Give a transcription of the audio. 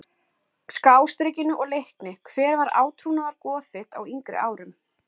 Skástrikinu og Leikni Hver var átrúnaðargoð þitt á yngri árum?